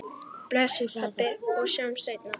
Bless, pabbi, og sjáumst seinna.